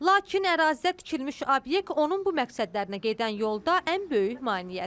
Lakin ərazidə tikilmiş obyekt onun bu məqsədlərinə gedən yolda ən böyük maneədir.